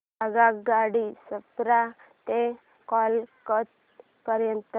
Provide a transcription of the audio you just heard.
आगगाडी छपरा ते कोलकता पर्यंत